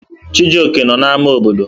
Chijioke nọ n'ámá obodo.